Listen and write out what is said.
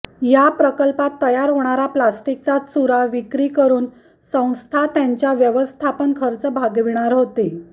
या प्रल्कपात तयार होणारा प्लास्टिकचा चुरा विक्री करून संस्था त्यांचा व्यवस्थापन खर्च भागविणार होती